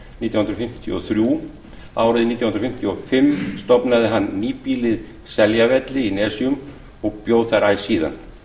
nítján hundruð fimmtíu og þrjú árið nítján hundruð fimmtíu og fimm stofnaði hann nýbýlið seljavelli í nesjum og bjó þar æ síðan